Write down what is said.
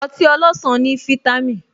Ọtí ọlọsan ní vítámìn